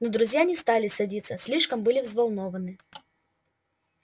но друзья не стали садиться слишком были взволнованны